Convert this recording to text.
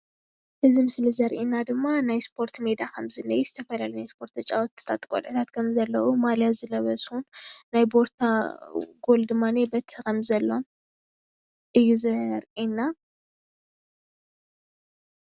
እዚ ምስሊ ዘርእየና ድማ ናይ ስፖርት ሜዳ ከምዘኔኤ ዝተፈላለዩ ናይ ስፖርት ተጨወቲ ቆልዑታት ከምዘለዉ ማልያ ዝለበሱ ናይ ቦርታ ጎል ከምዘሎ እዩ ዘርኤና።